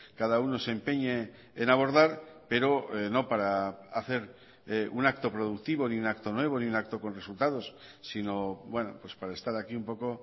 cada uno se empeñe en abordar pero no para hacer un acto productivo ni un acto nuevo ni un acto con resultados sino bueno para estar aquí un poco